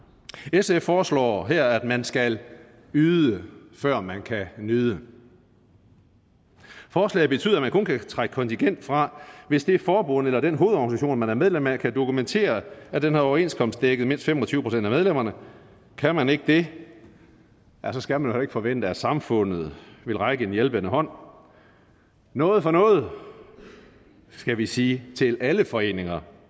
sf foreslår her at man skal yde før man kan nyde forslaget betyder at man kun kan trække kontingent fra hvis det forbund eller den hovedorganisation man er medlem af kan dokumentere at den har overenskomstdækket mindst fem og tyve procent af medlemmerne kan man ikke det skal man heller ikke forvente at samfundet rækker en hjælpende hånd noget for noget skal vi sige til alle foreninger